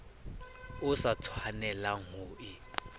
o sa tshwanelang ho e